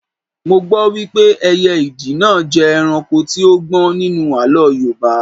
Mo gbọ́ wípé ẹyẹ ìdì náà jẹ́ ẹranko tí ó gbọ́n nínú àlọ́ Yorùbá